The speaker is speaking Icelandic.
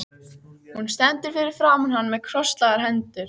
Hún stendur fyrir framan hann með krosslagðar hendur.